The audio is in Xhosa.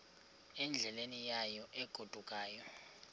endleleni yayo egodukayo